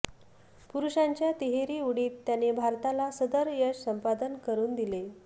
पुरुषांच्या तिहेरी उडीत त्याने भारताला सदर यश संपादन करुन दिले